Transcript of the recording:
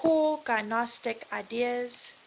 core gnostic ideas